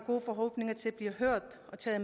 til at